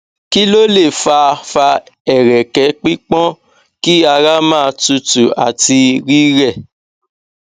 kí ló lè fa fa ereke pipọn ki ara ma tutu àti rire